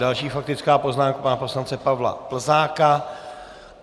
Další faktická poznámka, pana poslance Pavla Plzáka.